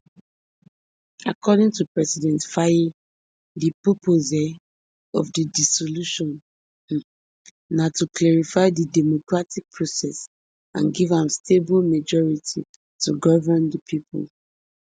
according to president faye di purpose um of di dissolution um na to clarify di democratic process and give am stable majority to govern di pipo